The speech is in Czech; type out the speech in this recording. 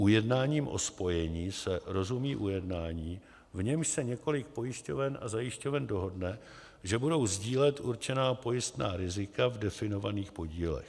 Ujednáním o spojení se rozumí ujednání, v němž se několik pojišťoven a zajišťoven dohodne, že budou sdílet určená pojistná rizika v definovaných podílech.